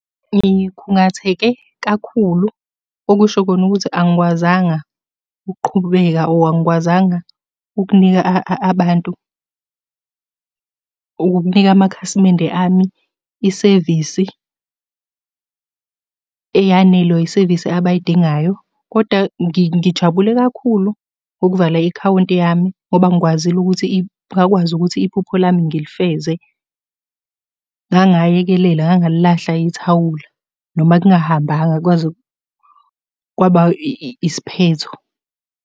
Ngikhungatheke kakhulu, okusho kona ukuthi angikwazanga ukuqhubeka or angikwazanga ukunika abantu, ukukunika amakhasimende ami isevisi eyanele or isevisi abayidingayo, koda ngijabule kakhulu ngokuvala ikhawunti yami, ngoba ngikwazile ukuthi ngakwazi ukuthi iphupho lami ngilifeze. Ngangayekelela, ngangalilahla ithawula, noma kungahambanga kwaze kwaba isiphetho.